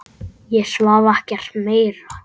Ég svaf ekkert meira.